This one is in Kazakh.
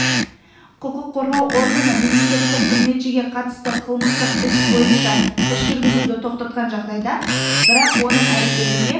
құқық қорғау органы мемлекеттік қызметшіге қатысты қылмыстық іс бойынша іс жүргізуді тоқтатқан жағдайда бірақ оның әрекетінде